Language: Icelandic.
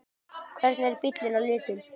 Hvernig er bíllinn á litinn?